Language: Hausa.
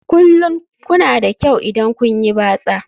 Kullum kuna da kyau idan kun yi batsa